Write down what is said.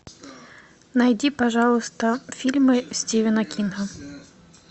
найди пожалуйста фильмы стивена кинга